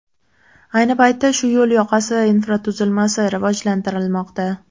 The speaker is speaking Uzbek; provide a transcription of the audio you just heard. Ayni paytda shu yo‘l yoqasi infratuzilmasi rivojlantirilmoqda.